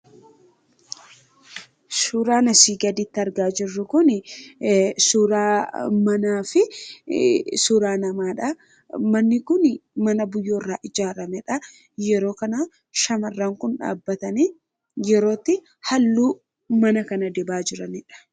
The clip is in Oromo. Suuraan asii gaditti argaa jirru kuni suuraa manaafi suuraa namaadha. Manni kun mana biyyoo irraa ijaaramedha. Yeroo kana shamarran kun dhaabbatanii yeroo itti haalluu mana kana dibaa jiranidha.